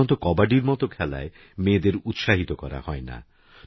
সাধারণতকবাডিরমতোখেলায়মেয়েদেরউৎসাহিতকরাহয়না